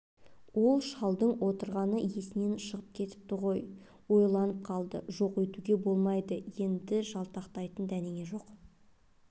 ол шалдың отырғаны есінен шығып кетіпті ғой ойланып қалды жоқ өйтуге болмайды енді жалтақтайтын дәнеңе жоқ